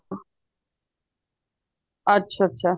ਅੱਛਾ ਅੱਛਾ